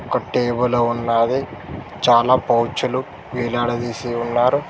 ఒక టేబుల్ ఉన్నాది చాలా పౌచీలు వేలాడదీసి ఉన్నారు